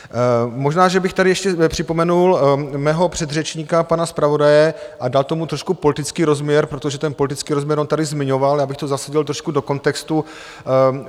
Možná že bych tady ještě připomenul mého předřečníka pana zpravodaje a dal tomu trošku politický rozměr, protože ten politický rozměr on tady zmiňoval, já bych to zasadil trošku do kontextu.